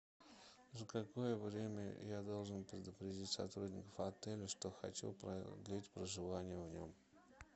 за какое время я должен предупредить сотрудников отеля что хочу продлить проживание в нем